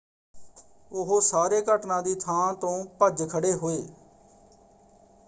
ਉਹ ਸਾਰੇ ਘਟਨਾ ਦੀ ਥਾਂ ਤੋਂ ਭੱਜ ਖੜ੍ਹੇ ਹੋਏ।